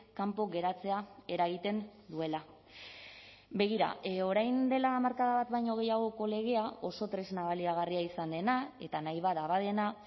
kanpo geratzea eragiten duela begira orain dela hamarkada bat baino gehiagoko legea oso tresna baliagarria izan dena eta nahi bada badena